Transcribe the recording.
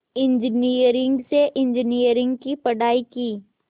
engineering से engineering की पढ़ाई की